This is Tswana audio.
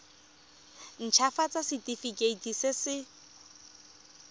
nt hafatsa setefikeiti se se